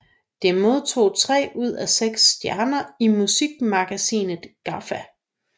Det modtog tre ud af seks stjerner i musikmagasinet GAFFA